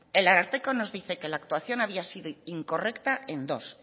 el ararteko nos dice que la actuación había sido incorrecta en dos